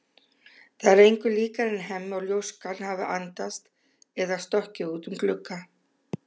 Það er engu líkara en Hemmi og ljóskan hafi andast eða stokkið út um glugga.